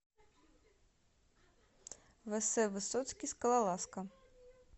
вс высоцкий скалолазка